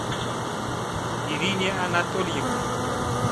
ирине анатольевне